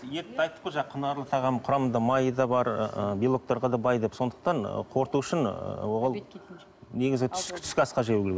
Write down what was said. етті айттық қой жаңа құнарлы тағам құрамында майы да бар ы белоктарға да бай деп сондықтан қорыту үшін оған негізі түскі асқа жеу керек